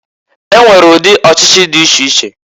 E nwere udị ọchịchị dị iche iche.